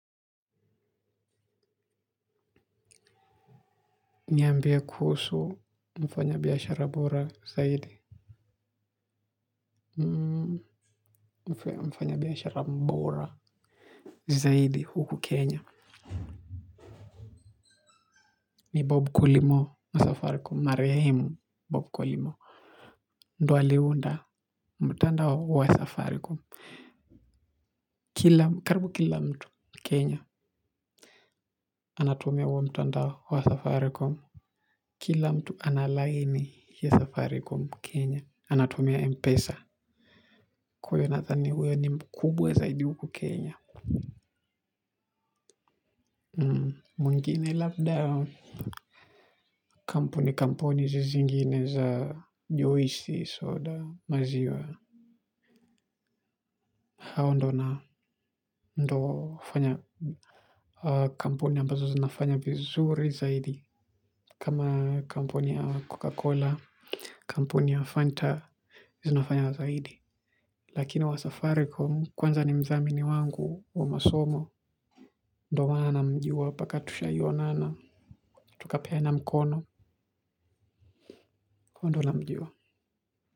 Niambie kuhusu mfanya biashara bora zaidi. Mfanya biashara bora zaidi huku Kenya. Ni Bob Kulimo wa safaricom marehemu Bob Kulimo. Ndio aliunda mtandao wa safaricom karibu kila mtu kenya anatumia huo mtandao wa safaricom. Kila mtu analaini ya safaricom kenye anatumia Mpesa kwa hivyo nadhani huyo ni mkubwa zaidi huku kenya mwingine labda kampuni kampuni hizi zingine za juisi soda maziwa. Hao ndo na ndo fanya. Kampuni ambazo zinafanya vizuri zaidi kama kampuni ya cocacola. Kampuni ya Fanta zinafanya zaidi. Lakini wa safaricom kwanza ni mdhamini wangu wa masomo. Ndio maana namjua mpaka tushawai onana. Tukapeana mkono hivyo namjua.